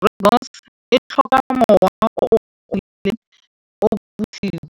Rooibos e tlhoka mowa o tiileng